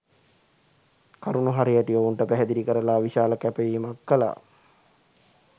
කරුණු හරිහැටි ඔවුන්ට පැහැදිළි කරලා විශාල කැපවීමක් කළා